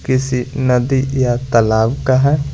किसी नदी या तालाब का है।